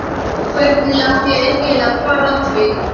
Og hvernig á ég eiginlega að fara að því?